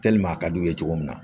a ka d'u ye cogo min na